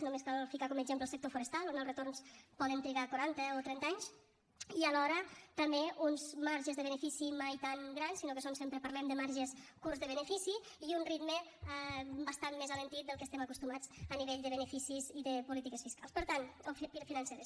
només cal ficar com a exemple el sector forestal on els retorns poden trigar quaranta o trenta anys i alhora també uns marges de benefici mai tan grans sinó que sempre parlem de marges curts de benefici i un ritme bastant més alentit del que estem acostumats a nivell de beneficis i de polítiques financeres